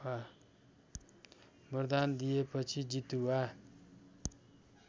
वरदान दिएपछि जितुवा